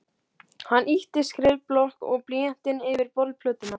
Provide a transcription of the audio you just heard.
Hann ýtti skrifblokk og blýanti yfir borðplötuna.